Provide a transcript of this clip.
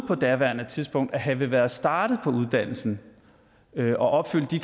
på daværende tidspunkt at have været startet på uddannelsen med en opfyldelse